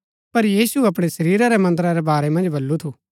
पर यीशु अपणै शरीरा रै मन्दरा रै बारै मन्ज बल्लू थू